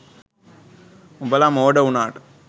උඹලා මෝඩ උනාට